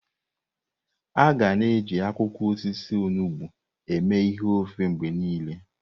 Aga na-eji akwụkwọ osisi onugbo eme ihe ofe mgbe niile.